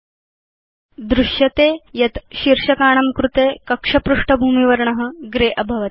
भवान् द्रष्टुं शक्नोति यत् शीर्षकाणां कृते कक्ष पृष्ठभूमिवर्ण ग्रेय अभवत्